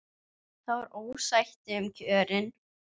Það var ósætti um kjörin.